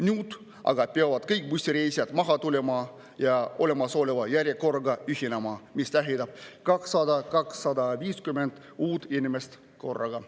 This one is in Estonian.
Nüüd aga peavad kõik bussireisijad maha tulema ja olemasoleva järjekorraga ühinema, mis tähendab 200–250 uut inimest korraga.